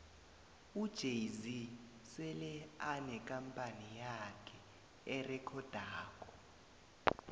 ujay zee sele anekampani yakhe erekhodako